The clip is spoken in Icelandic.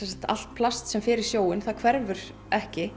allt plast sem fer í sjóinn það hverfur ekki